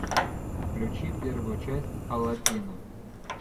включи первую часть аладдина